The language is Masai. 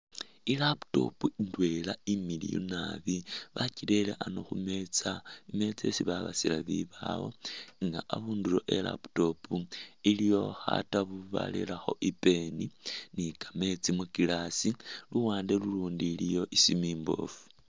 I'laptop imiliyu naabi bakyirere ano khumeza, imeza isi babasila bibawo elah abundulo we'laptop iliyo khatabu barerekho i'pen ni'kameetsi mu'glass, luwande lulundi iliyo isimu imbofu